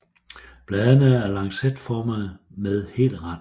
Bladene er lancetformede med hel rand